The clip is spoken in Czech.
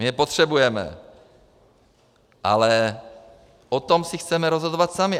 My je potřebujeme, ale o tom si chceme rozhodovat sami.